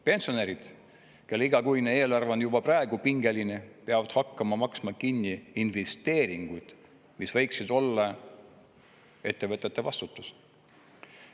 Pensionärid, kelle igakuine eelarve on juba praegu pingeline, peavad hakkama maksma kinni investeeringuid, mis võiksid olla ettevõtete vastutus.